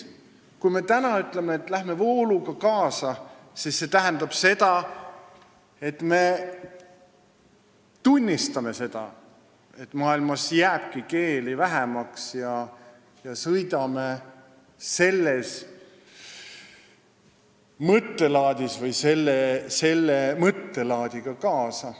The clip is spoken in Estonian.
Kui me täna ütleme, et lähme vooluga kaasa, siis see tähendab tunnistamist, et maailmas jääbki keeli vähemaks, ja selle mõttelaadiga kaasa sõitmist.